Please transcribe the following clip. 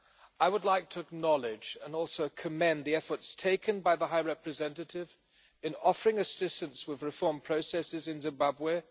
I would like to acknowledge, and also commend, the efforts taken by the High Representative in offering assistance with reform processes in Zimbabwe.